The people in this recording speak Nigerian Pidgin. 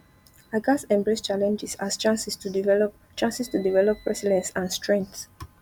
i gats embrace challenges as chances to develop chances to develop resilience and strength